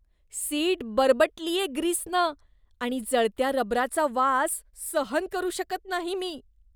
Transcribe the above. Seat बरबटलीये ग्रीसनं आणि जळत्या रबराचा वास सहन करू शकत नाही मी.